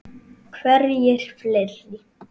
Hverjir fleiri?